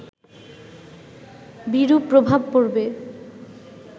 বিরূপ প্রভাব পড়বে